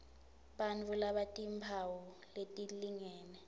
bantfu labatimphawu letilingene